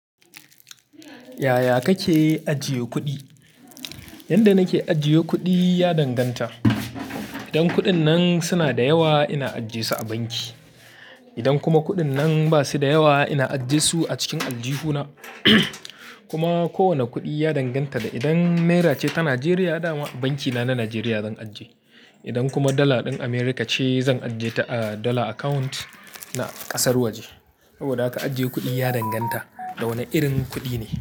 Yaya kake ajiye kuɗi? Yanda nake ajiye kuɗi ya danganta. Idan kuɗin nan suna da yawa, ina ajjiye su a banki. Idan kuma kuɗin nan ba su da yawa, ina ajjiye su a cikin aljihuna. Kuma kowane kuɗi ya danganta da idan naira ce ta Najeriya, da banki na na Najeriya zan ajiye. Idan kuma dala ɗin Amurka ce, zan ajiye ta a dollar account na ƙasar waje. Saboda haka ajiye kuɗi ya danganta da wane irin kuɗi ne.